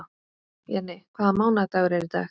Jenni, hvaða mánaðardagur er í dag?